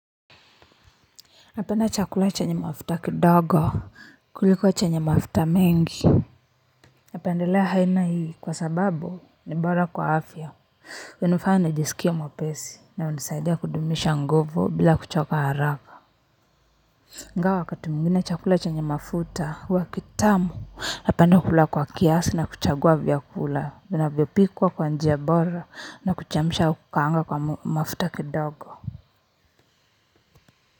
Napenda chakula chenye mafuta kidogo kuliko chenye mafuta mengi napendelea aina hii kwa sababu ni bora kwa afya hunifanya nijisikialr mwapesi na hunisaidia kudumisha nguvu bila kuchoka haraka ingawa wakati mwingine chakula chenye mafuta huwa kitamu napenda kula kwa kiasi na kuchagua vyakula vinavyopikwa kwa njia bora na kuchemsha au kukaanga kwa mafuta kidogo.